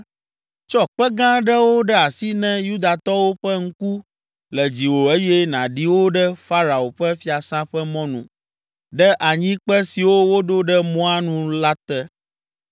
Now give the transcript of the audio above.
“Tsɔ kpe gã aɖewo ɖe asi ne Yudatɔwo ƒe ŋku le dziwò eye nàɖi wo ɖe Farao ƒe Fiasã ƒe mɔnu, ɖe anyikpe siwo woɖo ɖe mɔa nu la te